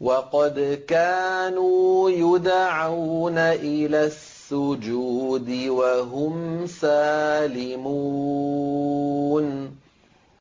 وَقَدْ كَانُوا يُدْعَوْنَ إِلَى السُّجُودِ وَهُمْ سَالِمُونَ